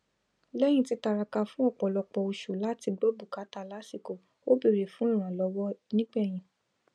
lẹyìn títiraka fún ọpọlọpọ oṣù láti gbọ bùkátà lásìkò ó bèrè fún ìrànlọwọ nígbẹyìn